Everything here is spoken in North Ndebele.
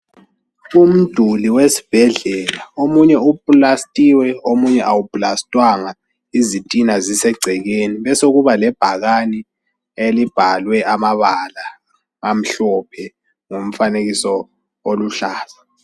Umuduli wesbhedlela, omunye upulastiwe omunye awuplastwanga, izitina zisegcekeni, besokuba lebhakani elibhalwe amabala amhlophe ngomfanekiso oluhlaza.